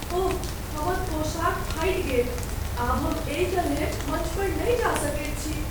ओह हमर पोशाक फाटि गेल। आब हम एहि तरहेँ मञ्च पर नहि जा सकैत छी।